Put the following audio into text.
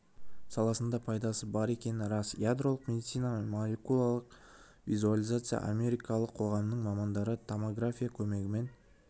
саласында пайдасы бар екені рас ядролық медицина мен молекулярлық визуализация америкалық қоғамының мамандары томография көмегімен